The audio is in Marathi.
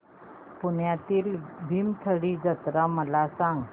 पुण्यातील भीमथडी जत्रा मला सांग